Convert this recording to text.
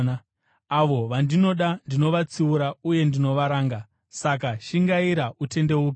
Avo vandinoda ndinovatsiura uye ndinovaranga. Saka shingaira, utendeuke.